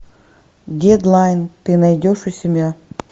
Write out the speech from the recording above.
дедлайн ты найдешь у себя